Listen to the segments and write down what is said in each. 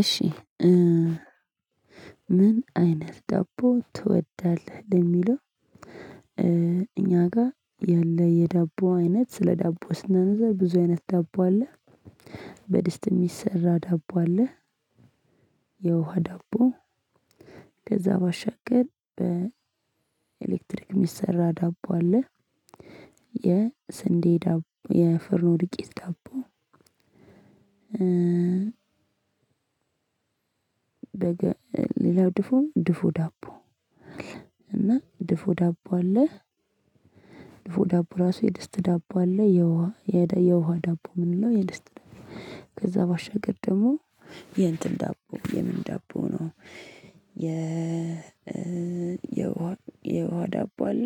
እሺ ምን አይነት ዳቦ ትወዳለህ ለሚለው? እኛ ጋር ያለ የዳቦ አይነት ስለ ዳቦ ስናስብ ብዙ አይነት ዳቦ አለ። በድስት የሚሰራ ዳቦ አለ። የውሃ ዳቦ። ከዛ ባሻገር በኤሌክትሪክ የሚሰራ ዳቦ አለ። የስንዴ ዳቦ የፉርኖ ዱቄት ዳቦ። በገ ሌላው ድፎ ድፎ ዳቦ። አለ እና ድፎ ዳቦ አለ። ድፎ ዳቦ ራሱ የድስት ዳቦ አለ የውሃ የደ የውሃ ዳቦ ምንለው የድስት። ከዛ ባሻገር ደግሞ የእንትን ዳቦ የምን ዳቦ ነው። የ የ የውሃ ዳቦ አለ።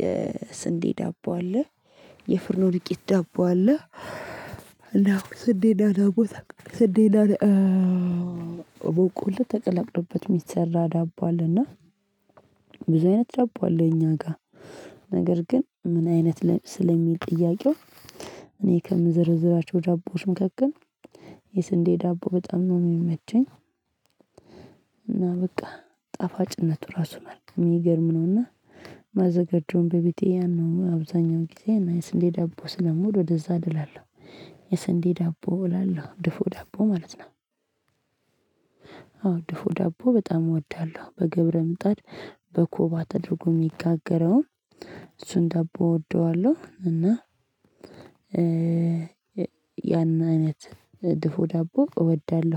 የስንዴ ዳቦ አለ። የፍርኖ ዱቄት ዳቦ አለ። እና ስንዴና ዳቦ ስንዴና በቀሎ ተቀላቅሎበት የሚሰራ ዳቦ አለና ብዙ አይነት ዳቦ አለ። እኛ ጋር ነገር ግን ምን አይነት ስለሚል ጥያቄው? እኔ ከምዘረዝራቸው ዳቦዎች መካከል የስንዴ ዳቦ በጣም ነው የሚመቸኝ። እና በቃ ጣፋጭነቱ ራሱ መልካም የሚገርም ነው። እና ማዘጋጀውን በቤቴ ያን ነው አብዛኛው ጊዜ እና የስንዴ ዳቦ ስለምወድ ወደዛ አደላለሁ። የስንዴ ዳቦ እላለሁ ድፎ ዳቦ ማለት ነው። አዎ ድፎ ዳቦ በጣም እወዳለሁ በገብረ ምጣድ በኮባ ተደርጎ የሚጋገረውን እሱን ደቦ እወደዋለሁ እና። ያንን አይነት ድፎ ዳቦ እወዳለሁ